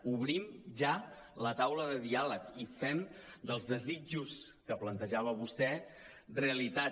obrim ja la taula de diàleg i fem dels desitjos que plantejava vostè realitat